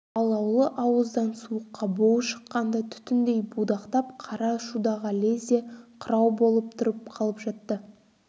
алаулы ауыздан суыққа буы шыққанда түтіндей будақтап қара шудаға лезде қырау болып тұрып қалып жатты